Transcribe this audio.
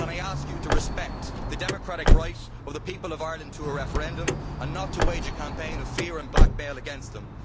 Can I ask you to respect the democratic right of the people of Ireland to a referendum and not to wage a campaign of fear and blackmail against them.